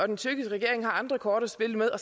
den tyrkiske regering har andre kort at spille med og